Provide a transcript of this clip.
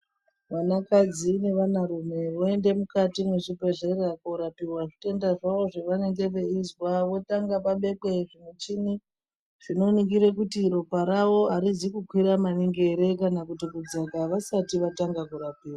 Vanakadzi nevana rume voenda mukati mechibhedhleya korapiwa zvitenda zvawo zvavanenge veizwa. Vanotanga vabekwa muchini chinoningira kuti ropa rawo arizi kukwira maningi ere kana kuti kudzaka vasati vatanga kurapiwa.